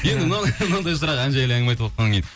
енді мынандай сұрақ ән жайлы әңгіме айтып отқаннан кейін